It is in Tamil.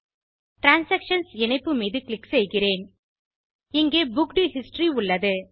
டிரான்சாக்ஷன்ஸ் இணைப்பு மீது க்ளிக் செய்கிறேன் இங்கே புக்க்ட் ஹிஸ்டரி உள்ளது